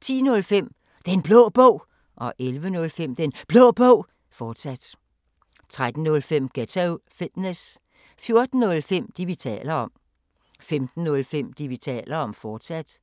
10:05: Den Blå Bog 11:05: Den Blå Bog, fortsat 13:05: Ghetto Fitness 14:05: Det, vi taler om 15:05: Det, vi taler om, fortsat